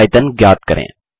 अब आयतन ज्ञात करें